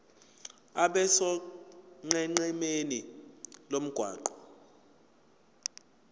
abe sonqenqemeni lomgwaqo